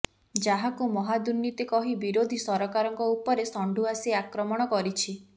ଯାହାକୁ ମହାଦୁର୍ନୀତି କହି ବିରୋଧୀ ସରକାରଙ୍କ ଉପରେ ଷଣ୍ଢୁଆସି ଆକ୍ରମଣ କରିଛି